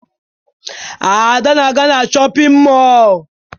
Ada na-aga na shọpịn mọọ